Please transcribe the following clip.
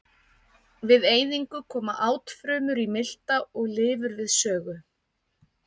Við eyðingu koma átfrumur í milta og lifur við sögu.